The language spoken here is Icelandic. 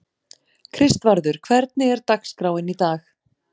Kristvarður, hvernig er dagskráin í dag?